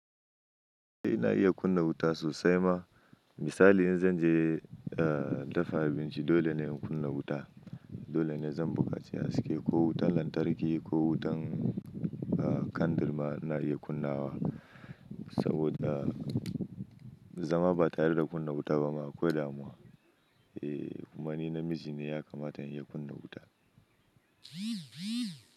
Eh na iya kunna wuta sosai ma, misali in zan je eh dafa abinci dole ne in kunna wuta. Dole ne zan buƙaci haske ko wutar lantarki ko wutan kandir ma na iya kunnawa. Saboda zama ba tare da kunna wuta ba ma akwai damuwa. Eh kuma ni namiji ne ya kamata in iya kunna wuta.